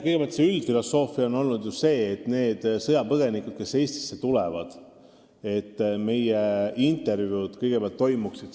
Kõigepealt, üldine põhimõte on olnud, et vestlused sõjapõgenikega, kes Eestisse tulevad, toimuvad algul mujal.